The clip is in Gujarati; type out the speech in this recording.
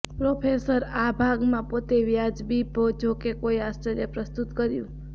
પ્રોસેસર આ ભાગમાં પોતે વાજબી જોકે કોઈ આશ્ચર્ય પ્રસ્તુત કર્યું